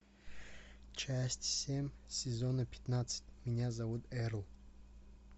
часть семь сезона пятнадцать меня зовут эрл